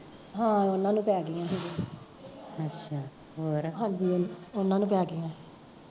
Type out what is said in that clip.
ਹਾਂ ਓਹਨਾਂ ਨੂੰ ਪੈ ਗਈਆ ਸੀਗੇ ਹਾਂਜੀ ਹਾਂਜੀ ਉਹਨਾਂ ਨੂੰ ਪੈ ਗਈਆ ਸੀ